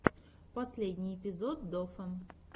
последний эпизод дофа